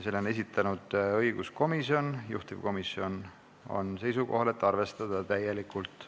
Selle on esitanud õiguskomisjon, juhtivkomisjon on seisukohal, et seda tuleks arvestada täielikult.